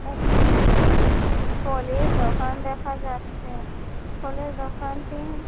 এইখানে একটা ফলের দোকান দেখা যাচ্ছে ফলের দোকানটি--